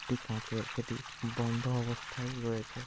একটি কাঁচের সেটি বন্ধ অবস্থায় রয়েছে।